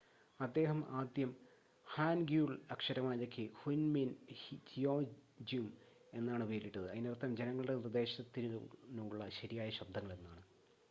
"അദ്ദേഹം ആദ്യം ഹാൻഗ്യുൾ അക്ഷരമാലയ്ക്ക് ഹുൻമിൻ ജിയോൻജ്യും എന്നാണ് പേരിട്ടത് അതിനർത്ഥം "ജനങ്ങളുടെ നിർദ്ദേശത്തിനുള്ള ശരിയായ ശബ്ദങ്ങൾ" എന്നാണ്.